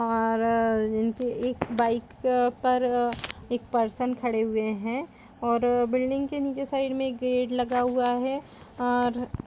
--और इनके एक बाइक पर एक पर्सन खड़े हुए हैं और बिल्डिंग के नीचे साइड में एक गेट लगा हुआ है। और--